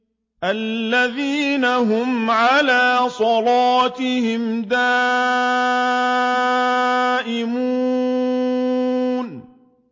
الَّذِينَ هُمْ عَلَىٰ صَلَاتِهِمْ دَائِمُونَ